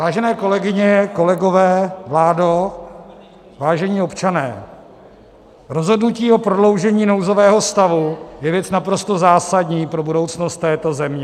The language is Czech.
Vážené kolegyně, kolegové, vládo, vážení občané, rozhodnutí o prodloužení nouzového stavu je věc naprosto zásadní pro budoucnost této země.